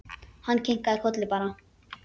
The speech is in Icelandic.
Hann kinkaði bara kolli.